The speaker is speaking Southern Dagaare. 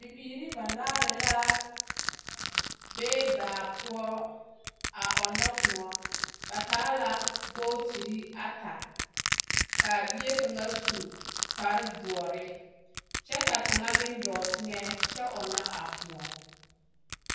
Bibiiri banaare la be baa poɔ a ɔnnɔ kõɔ. Ba taa la bootiri ata. K'a bie kaŋa su kpardoɔre, kyɛ ka kaŋa meŋ dɔɔ teŋɛ kyɛ ɔnnɔ a kõɔ.